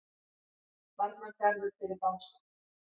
Varnargarður fyrir Bása